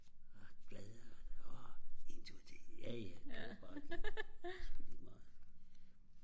og glad og åh en tur til jaja gør bare det det er sku lige meget